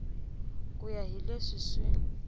ku ya hi leswi swi